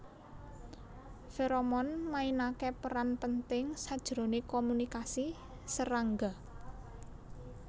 Feromon mainake peran penting sajrone komunikasi serangga